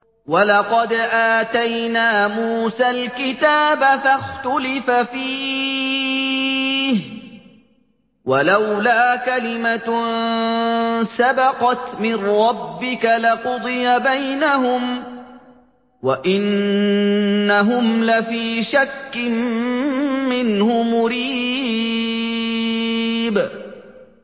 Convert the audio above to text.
وَلَقَدْ آتَيْنَا مُوسَى الْكِتَابَ فَاخْتُلِفَ فِيهِ ۚ وَلَوْلَا كَلِمَةٌ سَبَقَتْ مِن رَّبِّكَ لَقُضِيَ بَيْنَهُمْ ۚ وَإِنَّهُمْ لَفِي شَكٍّ مِّنْهُ مُرِيبٍ